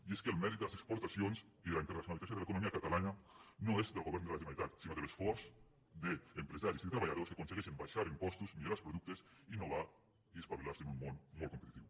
i és que el mèrit de les exportacions i de la internacionalització de l’economia catalana no és del govern de la generalitat sinó de l’esforç d’empresaris i de treballadors que aconsegueixen abaixar impostos millorar els productes innovar i espavilar se en un món molt competitiu